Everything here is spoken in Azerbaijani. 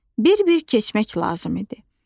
Bir-bir keçmək lazım idi.